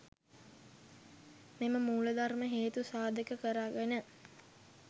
මෙම මූල ධර්ම හේතු සාධක කරගෙන